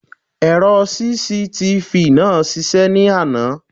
Èrò CCTV náà ń ṣiṣẹ́ ní àná.